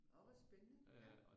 Orh hvor spændende